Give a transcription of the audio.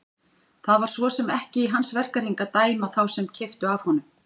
Það var svo sem ekki í hans verkahring að dæma þá sem keyptu af honum.